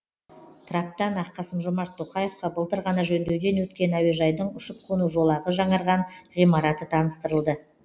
траптан ақ қасым жомарт тоқаевқа былтыр ғана жөндеуден өткен әуежайдың ұшып қону жолағы жаңарған ғимараты таныстырылды